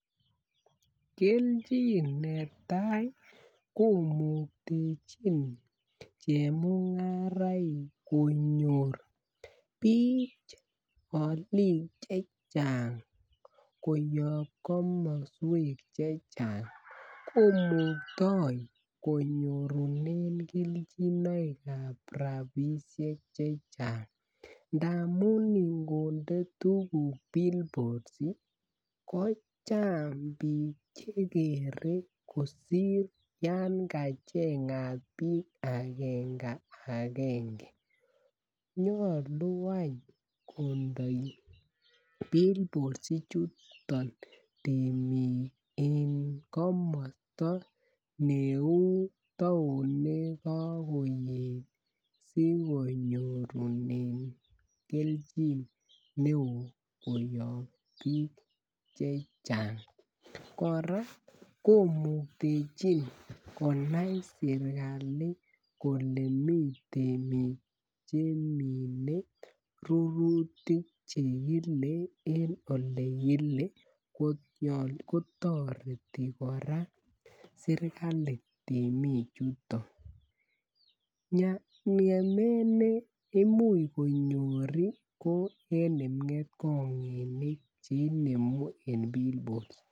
Kelchin netai komuktechin chemungara konyor bik alik Che Chang koyob komoswek Che Chang komukto konyorunen kelchinoik ab rabisiek Che Chang. Ndamun ngonde tuguk billboards ko chang bik Che kere kosir yan kachengat bik agenge agenge nyolu any kondoi billboard ichuton temik en komosta neu taonit ne kakoet asi konyorunen kelchin neo koyob bik Che Chang kora komuktechin konai sirkali kole mi temik Che mine rurutik chekile en Ole Ole kile kotoreti serkali temik chuton ngemet ne Imuch konyor ko en kipngetkonginik Che inemu en billboards